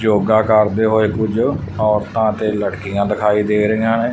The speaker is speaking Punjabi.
ਜੋਗਾ ਕਰਦੇ ਹੋਏ ਕੁਝ ਔਰਤਾਂ ਤੇ ਲੜਕੀਆਂ ਦਿਖਾਈ ਦੇ ਰਹੀਆਂ ਨੇ।